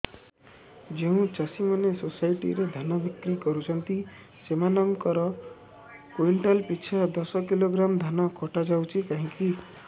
ଯେଉଁ ଚାଷୀ ମାନେ ସୋସାଇଟି ରେ ଧାନ ବିକ୍ରି କରୁଛନ୍ତି ସେମାନଙ୍କର କୁଇଣ୍ଟାଲ ପିଛା ଦଶ କିଲୋଗ୍ରାମ ଧାନ କଟା ଯାଉଛି କାହିଁକି